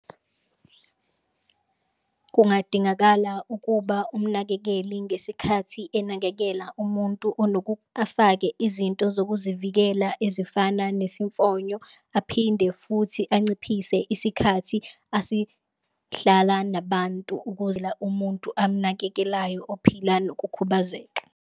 Kungadingakala ukuba umnakekeli ngesikhathi enakekela umuntu afake izinto zokuzivikela ezifana nesifonyo aphinde futhi anciphise isikhathi asihlala nabantu, ukwenzela umuntu amnakekelayo ophila nokukhubazeka.